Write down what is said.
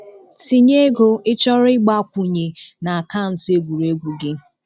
Tinye ego ịchọrọ ịgbakwunye na akaụntụ egwuregwu gị